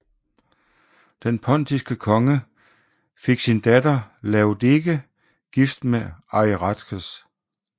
Den pontiske konge fik sin datter Laodike gift med Ariarathes